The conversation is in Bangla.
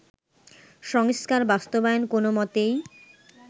সংস্কার বাস্তবায়ন কোনো মতেই